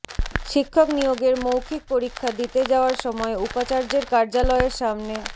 শিক্ষক নিয়োগের মৌখিক পরীক্ষা দিতে যাওয়ার সময় উপাচার্যের কার্যালয়ের সামনে